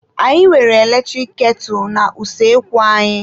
Anyị nwere eletrik ketu na-usoekwu anyị.